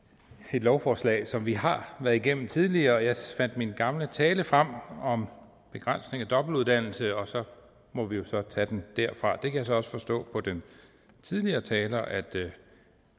et lovforslag som vi har været igennem tidligere jeg fandt min gamle tale frem om begrænsning af dobbeltuddannelse og så må vi jo så tage den derfra der kan jeg så også forstå på den tidligere taler at